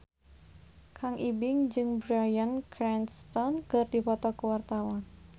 Kang Ibing jeung Bryan Cranston keur dipoto ku wartawan